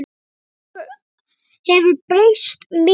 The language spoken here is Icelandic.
Þetta hefur breyst mikið.